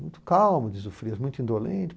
muito calmo, diz o Frias, muito indolente.